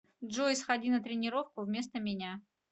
джой сходи на тренировку вместо меня